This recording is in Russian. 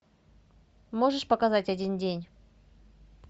можешь показать один день